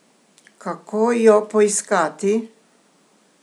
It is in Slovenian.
Kako jo poiskati?